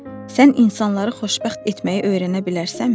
Sən insanları xoşbəxt etməyi öyrənə bilərsənmi?